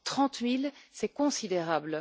Trente mille, c'est considérable!